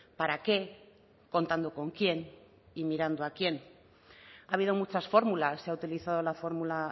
para qué contando con quién y mirando a quién ha habido muchas fórmulas se ha utilizado la fórmula